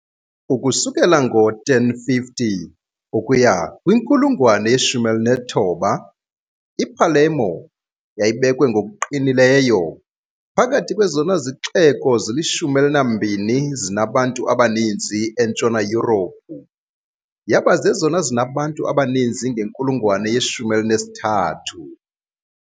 Ukusukela ngo-1050 ukuya kwinkulungwane ye-19, iPalermo yayibekwe ngokuqinileyo phakathi kwezona zixeko zilishumi elinambini zinabantu abaninzi eNtshona Yurophu, yaba zezona zinabantu abaninzi ngenkulungwane ye -13 .